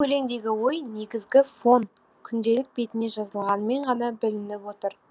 өлеңдегі ой негізгі фон күнделік бетіне жазылғанымен ғана білініп отыр